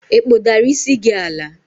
ị kpụdara isi gi ala?